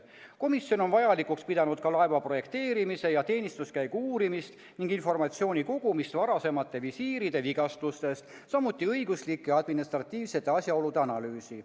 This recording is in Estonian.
Komisjon on vajalikuks pidanud ka laeva projekteerimise ja teenistuskäigu uurimist ning informatsiooni kogumist varasematest visiiride vigastustest, samuti õiguslike ja administratiivsete asjaolude analüüsi.